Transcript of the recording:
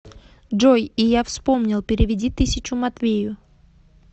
джой и я вспомнил переведи тысячу матвею